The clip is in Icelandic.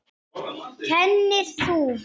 Kennir þú?